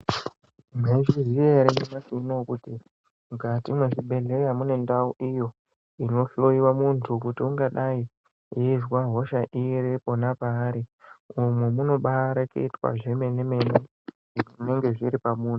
Mwaizviziya ere nyamashi uno kuti mukati mwezvibhehlera mune ndau iyo inhloyiwa muntu kuti ungadai eizwa hosha iri pona pairi, umu munoba mwareketwa zvemene-mene zvinonga zviri pamunhu.